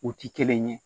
U ti kelen ye